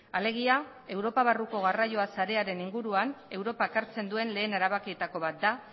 alegia europa barruko garraio sarearen inguruan europak hartzen duen lehen erabakietako bat da